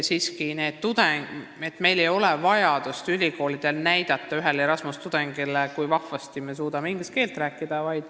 Meie ülikoolidel ei ole vaja näidata ühele Erasmuse tudengile, kui vahvasti me suudame inglise keelt rääkida.